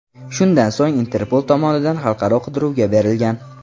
Shundan so‘ng Interpol tomonidan xalqaro qidiruvga berilgan.